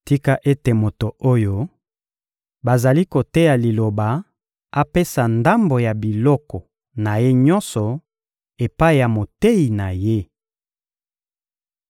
Tika ete moto oyo bazali koteya Liloba apesa ndambo ya biloko na ye nyonso epai ya moteyi na ye.